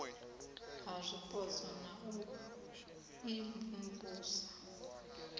a zwipotso na u imvumvusa